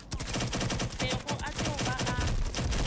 bego a tlo ba a